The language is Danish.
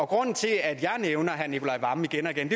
grunden til at jeg nævner herre nicolai wammen igen og igen